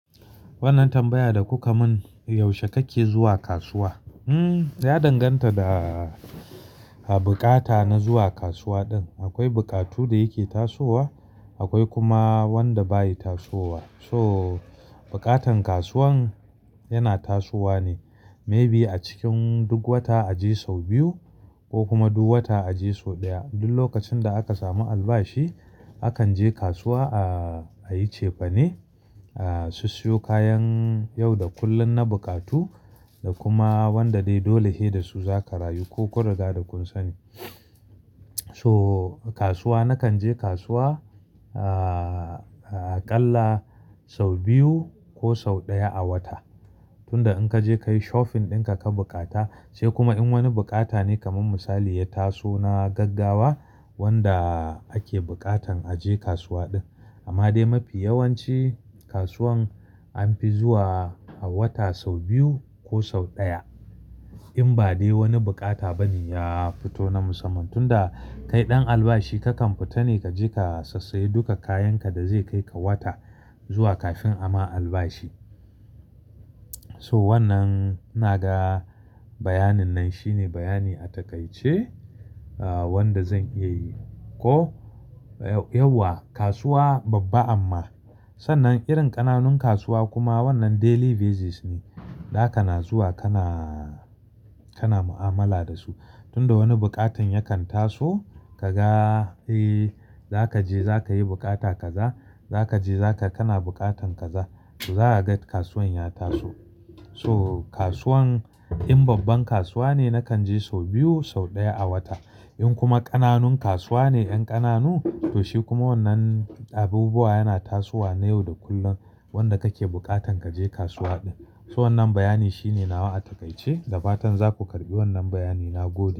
Wannan tambaya da kuka mun, yaushe kake zuwa kasuwa? Hmm, ya danganta da bukata na zuwa kasuwa din. Akwai buƙatu da yake tasowa, akwai kuma wadda baya tasowa. So buƙatan kasuwan yana tasowa ne, maybe a cikin duk wata a je sau biyu ko kuma duk wata a je sau ɗaya. Duk lokacin da aka samu albashi akan je kasuwa a yi cefane, a siyo kayan yau da kullum na buƙatu da kuma wadda dai dole ne da su za ka rayu ku kun riga da kun sani. So kasuwa, nakan je kasuwa aƙalla sau biyu ko sau ɗaya a wata. Tunda in ka je ka yi shopping ɗin ka ka buƙata, sai kuma in wani buƙata ne kamar misali ya taso na gaggawa wanda ake buƙatan a je kasuwa din. Amma dai mafi yawanci kasuwan an fi zuwa a wata sau biyu ko sau ɗaya. In ba dai wani buƙata bane ya fito na musamman. Tunda kai ɗan albashi kakan fita ne ka je ka sassaye duka kayan ka da zai kai ka wata zuwa kafin ama albashi. So wannan, ina ga bayanin nan shine bayani a takaice, wadda zan iya yi ko yauwa. Kasuwa babba amma sannan irin ƙananun kasuwa kuma wannan daily basis ne da kana zuwa kana, kana mu'amala da su. Tunda wani buƙatan yakan taso ka ga, eh za ka je za ka yi buƙata kaza, za ka je za ka, kana buƙatan kaza to za a ga kasuwan ya taso. So kasuwan in babban kasuwa ne nakan je sau biyu sau ɗaya a wata. In kuma ƙananun kasuwa ne, ƴan ƙananu to shi kuma wannan abubuwa yana tasowa na yau da kullum wanda kake buƙatan kaje kasuwa din. So wannan bayani shine nawa a takaice. Da fatan za ku karɓi wannan bayani na gobe.